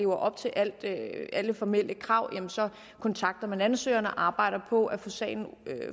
op til alle formelle krav jamen så kontakter man ansøgeren og arbejder på at få sagen